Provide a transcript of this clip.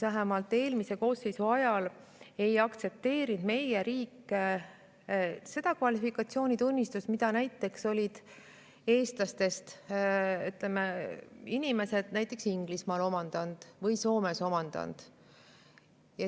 Vähemalt eelmise koosseisu ajal ei aktsepteerinud meie riik seda kvalifikatsioonitunnistust, mille olid eestlased omandanud näiteks Inglismaal või Soomes.